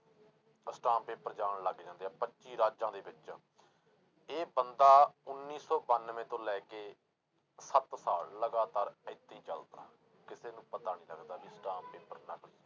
ਅਸਟਾਮ paper ਜਾਣ ਲੱਗ ਜਾਂਦੇ ਆ ਪੱਚੀ ਰਾਜਾਂ ਦੇ ਵਿੱਚ, ਇਹ ਬੰਦਾ ਉੱਨੀ ਸੌ ਬਾਨਵੇਂ ਤੋਂ ਲੈ ਕੇ ਸੱਤ ਸਾਲ ਲਗਾਤਾਰ ਏਦਾਂ ਹੀ ਚੱਲਦਾ, ਕਿਸੇ ਨੂੰ ਪਤਾ ਨੀ ਲੱਗਦਾ ਵੀ ਅਸਟਾਮ ਪੇਪਰ ਨਕਲੀ।